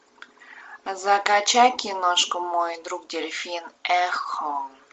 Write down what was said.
закачай киношку мой друг дельфин эхо